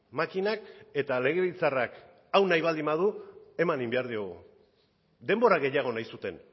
makinak eta legebiltzarrak hau nahi baldin badu eman egin behar diogu denbora gehiago nahi zuten